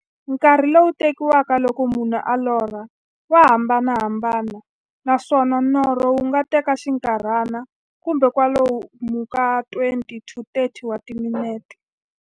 Nkarhi lowu tekiwaka loko munhu a lorha, wa hambanahambana, naswona norho wu nga teka xinkarhana, kumbe kwalomu ka 20-30 wa timinete.